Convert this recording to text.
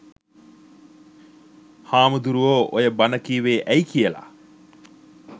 හාමුදුරුවෝ ඔය බණ කීවේ ඇයි කියලා